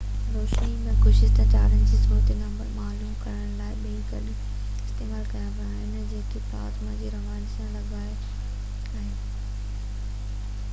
روشني ۽ گردش تارن جو روزبي نمبر معلوم ڪرڻ لاءِ ٻئي گڏ استعمال ڪيا ويا آهن جيڪي پلازما جي رواني سان لاڳاپيل آهن